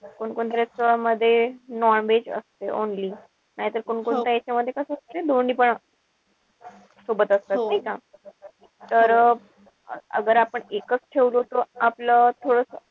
कोणकोणत्या restaurant मध्ये non-veg असते only. नाही तर कोणकोणत्या यांच्यामध्ये कस असते दोन्हीपण सोबत असते नाई का? तर आपण एकच ठेऊ तर आपलं थोडस,